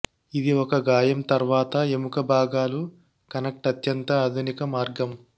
ఇది ఒక గాయం తర్వాత ఎముక భాగాలు కనెక్ట్ అత్యంత ఆధునిక మార్గం